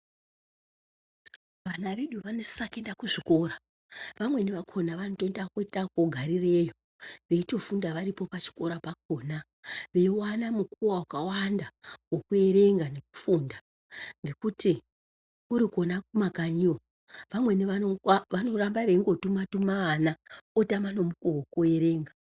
Vana vedu vanosisa kuenda kuzvikora. Vamweni vakona vanoita kuita ekutogarireyo veitofunda varipo pachikora pakonapo . Veiwana mukuwo wakawanda wekuerenga nekufunda. Nekuti kurikona kumakanyiyo vamweni vanongoramba vechingotuma tuma ana otama nemukuwo wekuerenga.